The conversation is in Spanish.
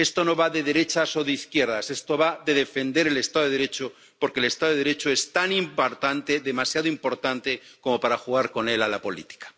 Esto no va de derechas o de izquierdas, esto va de defender el Estado de Derecho, porque el Estado de Derecho es tan importante, demasiado importante como para jugar con él a la política.